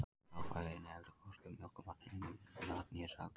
Hráfæði inniheldur hvorki mjólkurmat, unnin mat né sælgæti.